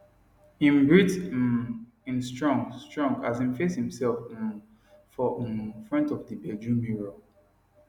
im breath um in strong strong as im face imself um for um front of the bedroom mirror